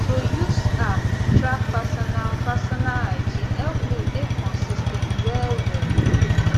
to use app track personal personal hygiene help me dey consis ten t well well